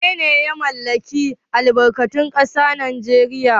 Wanene ya mallaki albarkatun ƙasa a Najeriya?